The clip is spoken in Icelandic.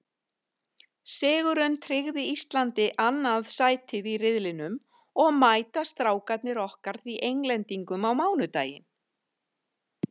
Sigurinn tryggði Íslandi annað sætið í riðlinum og mæta Strákarnir okkar því Englendingum á mánudaginn.